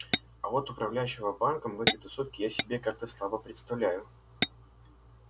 а вот управляющего банком в этой тусовке я себе как-то слабо представляю